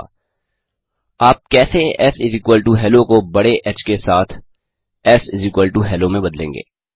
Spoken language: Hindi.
3आप कैसे shello को बड़े ह के साथ sHello में बदलेंगे